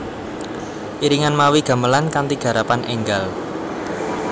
Iringan mawi gamelan kanthi garapan énggal